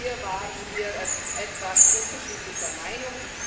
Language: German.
Hier waren wir etwas unterschiedlicher Meinung.